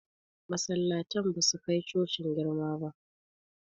Masallatan ba su kai cocin girma ba